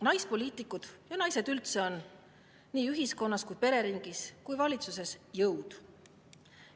Naispoliitikud ja naised üldse on nii ühiskonnas, pereringis kui ka valitsuses jõud.